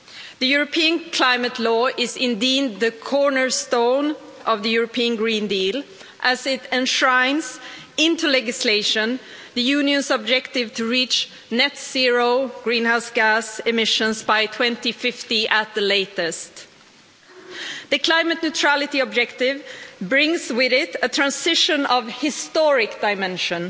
The European Climate Law is indeed the cornerstone of the European Green Deal, as it enshrines into legislation the Union's objective to reach net zero greenhouse gas emissions by 2050 at the latest. The climate neutrality objective brings with it a transition of historic dimension,